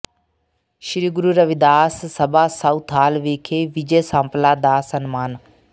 ਸ੍ਰੀ Guru Ravidas Sabha Southall ਵਿਖੇ ਵਿਜੇ ਸਾਂਪਲਾ ਦਾ ਸਨਮਾਨ